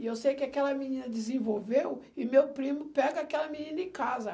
E eu sei que aquela menina desenvolveu e meu primo pega aquela menina em casa.